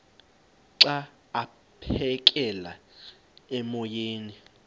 xa aphekela emoyeni